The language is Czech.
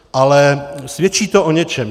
Ale svědčí to o něčem.